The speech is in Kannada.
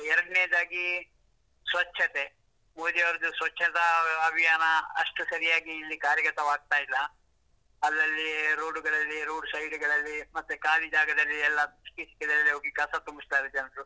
ಮತ್ತೆ ಎರಡನೇದಾಗಿ ಸ್ವಚ್ಛತೆ, ಮೋದಿ ಅವ್ರ್ದು ಸ್ವಚ್ಛತಾ ಅಭಿಯಾನ ಅಷ್ಟು ಸರಿಯಾಗಿ ಇಲ್ಲಿ ಕಾರ್ಯಗತವಾಗ್ತಾ ಇಲ್ಲ, ಅಲ್ಲಲ್ಲಿ road ಗಳಲ್ಲಿ road side ಗಳಲ್ಲಿ, ಮತ್ತೆ ಖಾಲಿ ಜಾಗದಲ್ಲಿ ಎಲ್ಲ ಸಿಕ್ಕಿ ಸಿಕ್ಕಿದಲ್ಲಿ ಹೋಗಿ ಕಸ ತುಂಬಿಸ್ತಾರೆ ಜನರು.